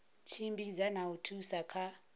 tshimbidza na u thusa kha